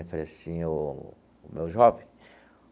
Eu falei assim, o o meu jovem.